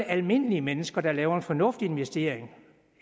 almindelige mennesker der laver en fornuftig investering